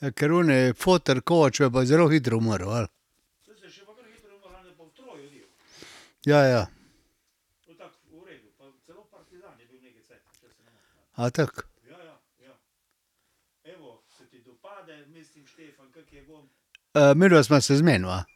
Ja, ker oni foter koče je pa zelo hitro umrl, ali. Ja, ja, ja. A tako? midva sva se zmenila.